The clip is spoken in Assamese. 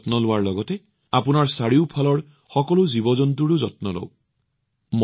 নিজৰ যত্ন লওক আৰু আপোনালোকৰ চাৰিওফালৰ সকলো জন্তুৰ যত্ন লওক